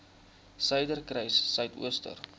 suiderkruissuidooster